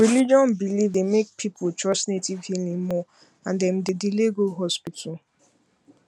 religion belief dey make people trust native healing more and dem dey delay go hospital